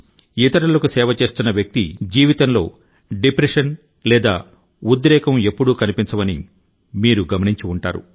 ఇతరులకు సేవ చేస్తున్న వ్యక్తి జీవితంలో డిప్రెషన్ లేదా ఉద్రేకం ఎప్పుడూ కనిపించవని మీరు గమనించి ఉంటారు